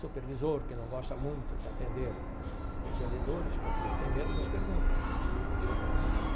Supervisor que não gosta muito de atender os vendedores porque ele tem medo das perguntas.